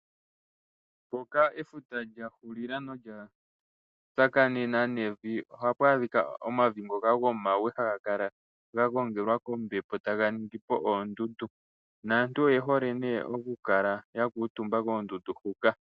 Mpoka efuta lya hulila nolya tsakanena nevi oha pwaadhika omavi ngoka gomawe ha ga kala ga gongelwa kombepo ta ga ningi po oondundu, naantu oye hole ne oku kala ya kuutumba koondundu hula.